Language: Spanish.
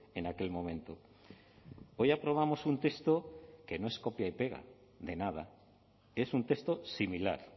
en aquel momento hoy aprobamos un texto que no es copia y pega de nada es un texto similar